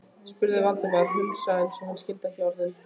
spurði Valdimar, hvumsa eins og hann skildi ekki orðin.